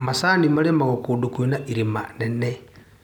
Macani marĩmagwo kũndũ kwĩna irĩma nene.